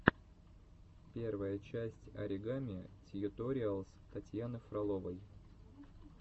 первая часть оригами тьюториалс татьяны фроловой